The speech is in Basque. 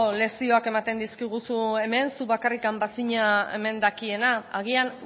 lezioak ematen dizkiguzu hemen zu bakarrik bazina hemen dakiena agian